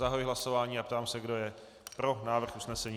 Zahajuji hlasování a ptám se, kdo je pro návrh usnesení.